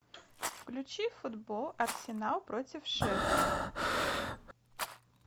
включи футбол арсенал против шеффилда